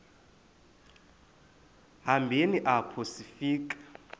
hambeni apho sifika